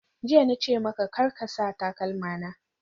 Jiya na ce maka, Kar ka sa takalma na!